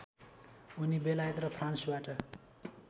उनी बेलायत र फ्रान्सबाट